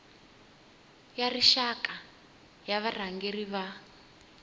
ya rixaka ya varhangeri va